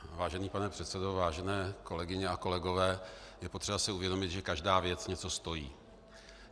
Vážený pane předsedo, vážené kolegyně a kolegové, je potřeba si uvědomit, že každá věc něco stojí.